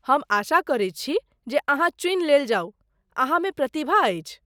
हम आशा करैत छी जे अहाँ चुनि लेल जाउ, अहाँमे प्रतिभा अछि।